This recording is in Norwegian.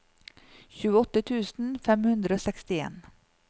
tjueåtte tusen fem hundre og sekstien